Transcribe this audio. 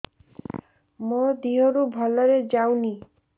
ମୋ ଦିହରୁ ଭଲରେ ଯାଉନି